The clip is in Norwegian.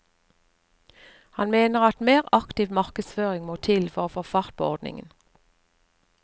Han mener at mer aktiv markedsføring må til for å få fart på ordningen.